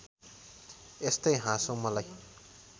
यस्तै हाँसो मलाई